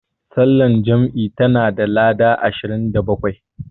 Sallar jam'i tana da lada ashirin da bakwai.